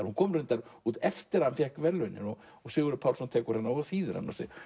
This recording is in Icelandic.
hún kom reyndar út eftir að hann fékk verðlaunin Sigurður Pálsson þýðir hana